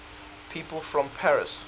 people from paris